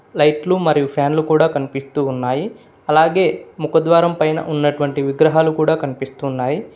లైట్లు మరియు ఫ్యాన్లు కూడా కనిపిస్తూ ఉన్నాయి అలాగే ముఖద్వారం పైన ఉన్నటువంటి విగ్రహాలు కూడా కనిపిస్తున్నాయి.